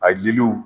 A diliw